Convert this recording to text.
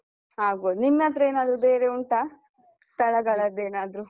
ಆಗ್ಬೋದು. ನಿನ್ನತ್ರ ಏನಾದ್ರು ಬೇರೆ ಉಂಟಾ, ಸ್ಥಳಗಳದ್ದೆನಾದ್ರೂ?